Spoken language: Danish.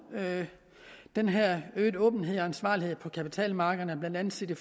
den her øgede åbenhed og ansvarlighed på kapitalmarkederne blandt andet set i